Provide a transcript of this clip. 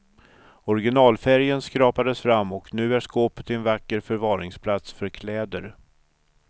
Originalfärgen skrapades fram och nu är skåpet en vacker förvaringsplats för kläder.